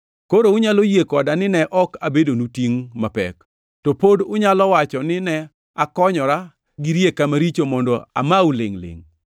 Koro unyalo yie koda nine ok abedonu tingʼ mapek. To pod unyalo wacho ni ne akonyora gi rieka maricho mondo amau lingʼ-lingʼ.